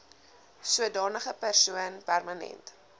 sodanige persoon permanent